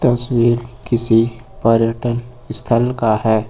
तस्वीर किसी पर्यटन स्थल का है।